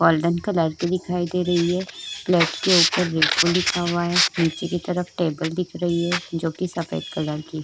Golden colour की दिखाई दे रही है। प्लेट के ऊपर रिफ्फु लिखा हुआ है। नीचे की तरफ टेबल दिख रही है जोकि सफेद कलर की है।